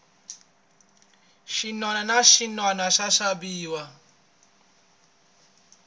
xinwana na xinwana xa xaviwa